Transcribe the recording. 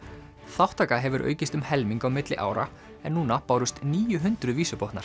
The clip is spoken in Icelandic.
þátttaka hefur aukist um helming á milli ára en núna bárust níu hundruð